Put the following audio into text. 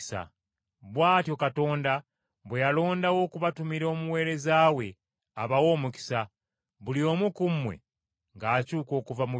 Bw’atyo Katonda bwe yalondawo okubatumira Omuweereza we abawe omukisa, buli omu ku mmwe ng’akyuka okuva mu bibi bye.”